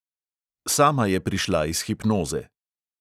Sama je prišla iz hipnoze.